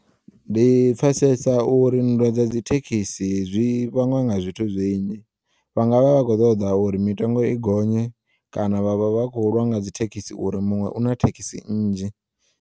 Ndi pfesesa uri nndwa dza dzithekisi zwi vhangwa nga zwithu zwinzhi, vha nga vha vha kho ṱoḓa uri mitengo i gonye kana vha vha vha kho ulwa nga dzithekisi uri muṅwe una thekisi nnzhi.